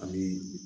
Ani